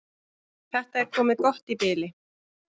Þetta er komið gott í bili.